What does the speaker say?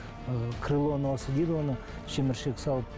ыыы крыло носа дейді оны шеміршек салып